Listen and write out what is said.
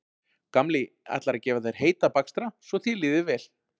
Gamli ætlar að gefa þér heita bakstra svo þér líði betur